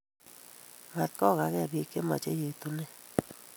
Mat kogage bik che machei yetunet.